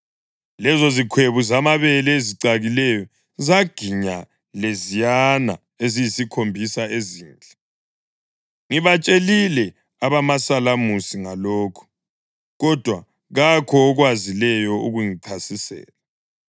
Lezozikhwebu zamabele ezicakileyo zaginya leziyana eziyisikhombisa ezinhle. Ngibatshelile abamasalamusi ngalokhu, kodwa kakho okwazileyo ukungichasisela.”